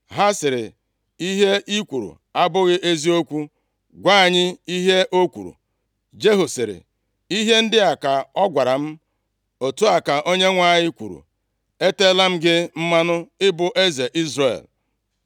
Ha sịrị, “Ihe i kwuru abụghị eziokwu, gwa anyị ihe o kwuru.” Jehu sịrị, “Ihe ndị a ka ọ gwara m, ‘Otu a ka a Onyenwe anyị kwuru, Eteela m gị mmanụ ịbụ eze Izrel.’ ”